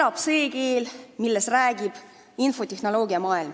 Elab see keel, milles räägib infotehnoloogiamaailm.